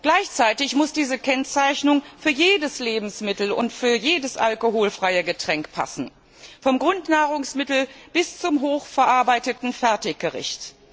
Gleichzeitig muss diese Kennzeichnung für jedes Lebensmittel und für jedes alkoholfreie Getränk passen, vom Grundnahrungsmittel bis zum hoch verarbeiteten Fertiggericht.